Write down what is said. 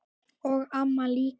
Og amma líka.